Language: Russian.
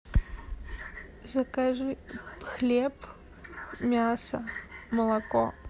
закажи хлеб мясо молоко